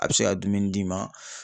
A bɛ se ka dumuni d'i ma